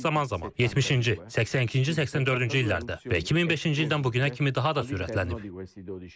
Bu proses zaman-zaman 70-ci, 82-ci, 84-cü illərdə və 2005-ci ildən bu günə kimi daha da sürətlənib.